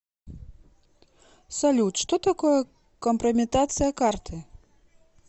салют что такое компрометация карты